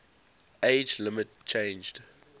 age limit changed